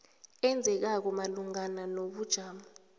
enzekako malungana nobujamo